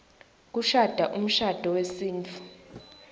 sekushada umshado wesintfu